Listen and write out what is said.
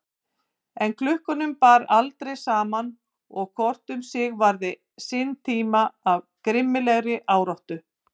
En klukkunum bar aldrei saman og hvor um sig varði sinn tíma af grimmilegri áráttu.